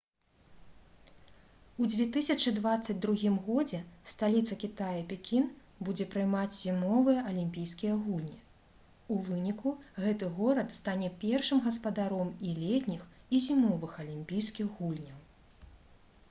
у 2022 годзе сталіца кітая пекін будзе прымаць зімовыя алімпійскія гульні у выніку гэты горад стане першым гаспадаром і летніх і зімовых алімпійскіх гульняў